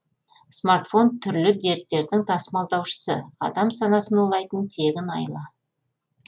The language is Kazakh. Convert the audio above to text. смартфон түрлі дерттердің тасымалдаушысы адам санасын улайтын тегін айла